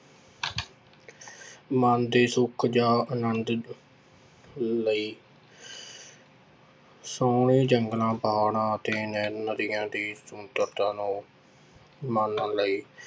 ਮਨ ਦੇ ਸੁੱਖ ਜਾਂ ਆਨੰਦ ਲਈ ਸੋਹਣੇ ਜੰਗਲਾਂ, ਪਹਾੜਾਂ ਅਤੇ ਨਦੀਆਂ ਦੀ ਸੁੰਦਰਤਾ ਨੂੰ ਮਾਨਣ ਲਈ